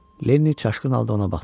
Lenni çaşqın halda ona baxdı.